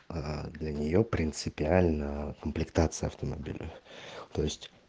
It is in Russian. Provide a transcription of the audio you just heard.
а до нее принципиально комплектация автомобиля